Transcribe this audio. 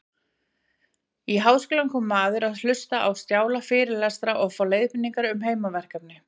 Í háskólann kom maður til að hlusta á strjála fyrirlestra og fá leiðbeiningar um heimaverkefni.